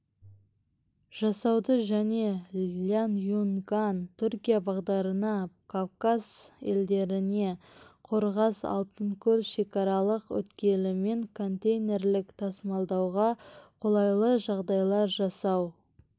жасауды және ляньюньган-түркия бағдарына кавказ елдеріне қорғас алтынкөл шекаралық өткелімен контейнерлік тасымалдауға қолайлы жағдайлар жасау